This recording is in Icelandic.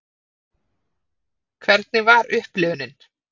Hvernig var upplifunin?